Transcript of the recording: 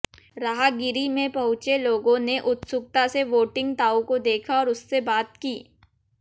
राहगिरी में पहुंचे लोगों ने उत्सुकता से वोटिंग ताऊ को देखा और उससे बात की